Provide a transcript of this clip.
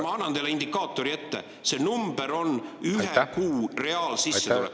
Ma annan teile indikaatori ette: see number on inimeste ühe kuu reaalsissetulek.